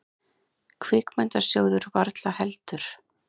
Kvikmyndasjóður varla heldur.